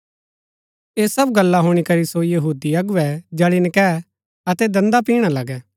ऐह सब गल्ला हुणी करि सो यहूदी अगुवै जळी नकैऐ अतै दन्दा पिणा लगै